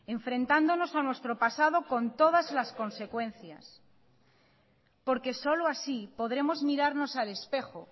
enfrentándonos a nuestro pasado con todas las consecuencias porque solo así podremos mirarnos al espejo